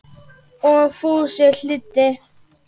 Og Fúsi hlýddi.